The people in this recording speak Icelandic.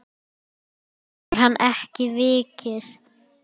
Þaðan hefur hann ekki vikið.